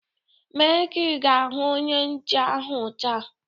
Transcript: Mee kaa ị ga-ahụ Onye nche ahu taa!